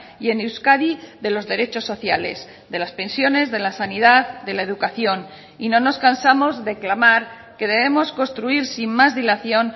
y en euskadi de los derechos sociales de las pensiones de la sanidad de la educación y no nos cansamos de clamar que debemos construir sin más dilación